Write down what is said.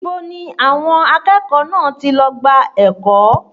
Ibo ni àwọn akẹ́kọ̀ọ́ náà ti lọ gba ẹ̀kọ́?